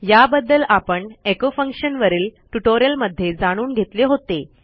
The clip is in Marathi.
याबद्दल आपण एको फंक्शन वरील ट्युटोरियलमध्ये जाणून घेतले होते